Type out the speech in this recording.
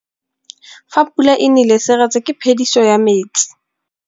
Fa pula e nelê serêtsê ke phêdisô ya metsi.